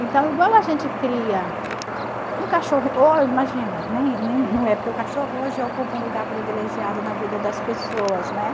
Então, igual a gente cria um cachorro... Imagina, nem nem não é porque o cachorro hoje ocupa um lugar privilegiado na vida das pessoas, né?